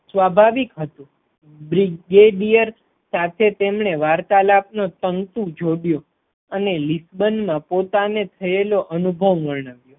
સ્વાભાવિક હતું બ્રિગેડીયર સાથે તેમને વાર્તાલાપ નો તંતુ જોડયો અને લીસબન્ડમાં પોતાને થયેલ અનુભવ વર્ણવ્યો.